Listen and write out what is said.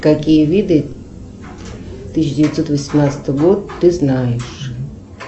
какие виды тысяча девятьсот восемнадцатый год ты знаешь